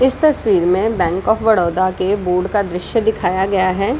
इस तस्वीर में बैंक ऑफ़ बड़ौदा का दृश्य दिखाया गया है।